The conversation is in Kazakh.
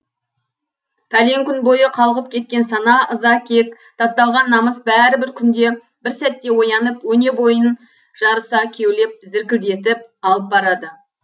пәлен күн бойы қалғып кеткен сана ыза кек тапталған намыс бәрі бір күнде бір сәтте оянып өне бойын жарыса кеулеп зіркілдетіп алып барады